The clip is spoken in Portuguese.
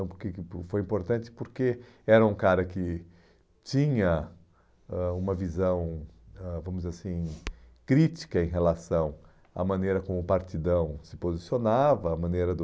Então, porque que foi importante porque era um cara que tinha ãh uma visão, ãh vamos dizer assim, crítica em relação à maneira como o Partidão se posicionava, à maneira do...